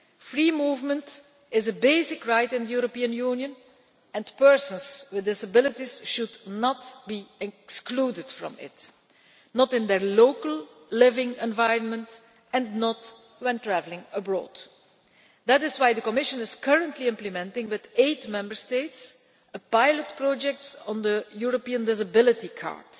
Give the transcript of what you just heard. Free movement is a basic right in the EU and persons with disabilities should not be excluded from it either in their local living environment or when traveling abroad. That is why the Commission is currently implementing, with eight Member States, a pilot project on the European Disability Card.